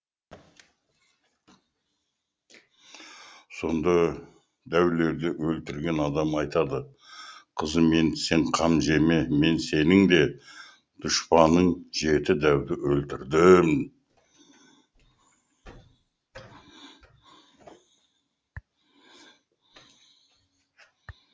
сонда дәулерді өлтірген адам айтады қызым енді сен қам жеме мен сенің дұшпаның жеті дәуді өлтірдім